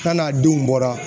K'a n'a denw bɔra